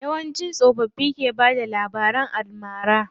Yawanci tsofaffin ke bada labaran almara.